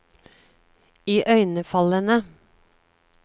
iøynefallende